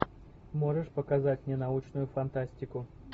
можешь показать мне научную фантастику